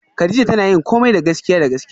Kadija tana yin komai da gaskiya da gaskiya